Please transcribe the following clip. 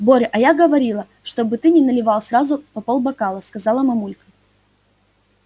боря а я говорила чтобы ты не наливал сразу по полбокала сказала мамулька